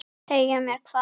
Segja mér hvað?